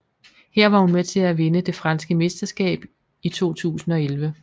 Her var hun med til at vinde det franske mesterskab i 2011